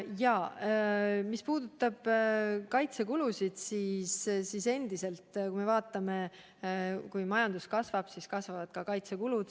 Ja mis puudutab kaitsekulusid, siis endiselt on nii, et kui majandus kasvab, siis kasvavad ka kaitsekulud.